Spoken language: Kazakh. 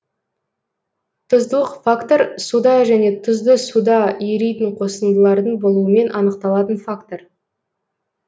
тұздылық фактор суда және тұзды суда еритін қосындылардың болуымен анықталатын фактор